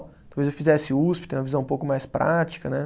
Talvez eu fizesse Usp, ter uma visão um pouco mais prática, né?